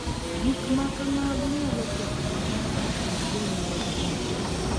Gik ma kamago nyalo ketho winjruok e kind jonyuol gi nyithindgi